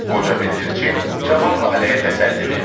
Qoca bildirçin cavan laləyə təsəlli verdi.